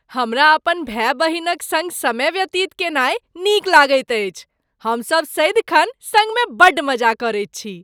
हमरा अपन भाय बहिनक सङ्ग समय व्यतीत कयनाय नीक लगैत अछि। हमसब सदिखन सङ्गमे बड्ड मजा करैत छी।